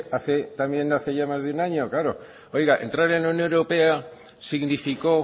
hace también hace ya más de un año claro oiga entrar en la unión europea significó